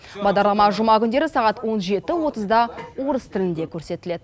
бағдарлама жұма күндері сағат он жеті отызда орыс тілінде көрсетіледі